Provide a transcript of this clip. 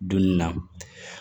Dunni na